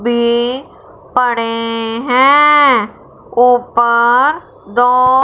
B पड़े हैं। ऊपर दो--